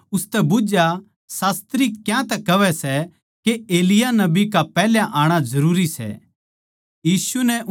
अर उननै उसतै बुझ्झया शास्त्री क्यांतै कहवै सै के एलिय्याह नबी का पैहल्या आणा जरूरी सै